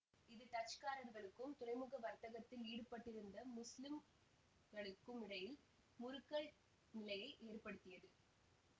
இது டச்சுக்காரர்களுக்கும் துறைமுக வர்த்தகத்தில் ஈடுபட்டிருந்த முஸ்லிம்களுக்குமிடையில் முறுக்கல் நிலையை ஏற்படுத்தியது